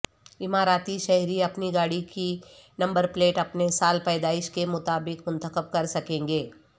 اماراتی شہری اپنی گاڑی کی نمبر پلیٹ اپنے سال پیدائش کے مطابق منتخب کرسکیں گے